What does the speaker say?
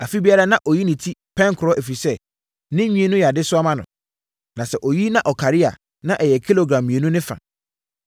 Afe biara, na ɔyi ne ti pɛnkorɔ, ɛfiri sɛ, ne nwi no yɛ adesoa ma no. Na sɛ ɔyi na ɔkari a, na ɛyɛ kilogram mmienu ne fa.